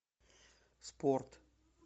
спорт